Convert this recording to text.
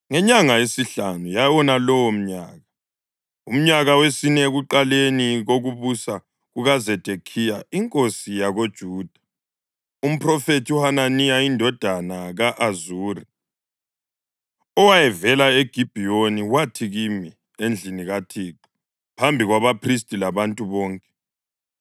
Ngenyanga yesihlanu yawonalowo umnyaka, umnyaka wesine, ekuqaleni kokubusa kukaZedekhiya inkosi yakoJuda, umphrofethi uHananiya indodana ka-Azuri, owayevela eGibhiyoni, wathi kimi endlini kaThixo phambi kwabaphristi labantu bonke: